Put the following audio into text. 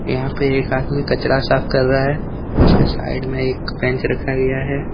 यहां पर एक आदमी कचरा साफ कर रहा है उसके साइड में एक बेंच रखा गया है।